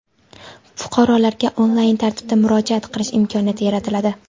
fuqarolarga onlayn tartibda murojaat qilish imkoniyati yaratiladi.